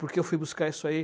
Porque eu fui buscar isso aí.